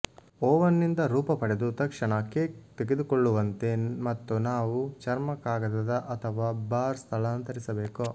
oven ನಿಂದ ರೂಪ ಪಡೆದು ತಕ್ಷಣ ಕೇಕ್ ತೆಗೆದುಕೊಳ್ಳುವಂತೆ ಮತ್ತು ನಾವು ಚರ್ಮಕಾಗದದ ಅಥವಾ ಬಾರ್ ಸ್ಥಳಾಂತರಿಸಬೇಕು